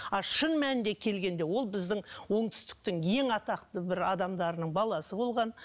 а шын мәнінде келгенде ол біздің оңтүстіктің ең атақты бір адамдарының баласы болған